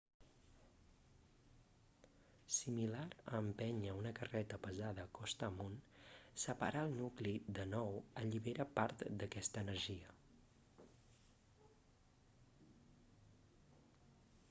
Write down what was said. similar a empènyer una carreta pesada costa amunt separar el nucli de nou allibera part d'aquesta energia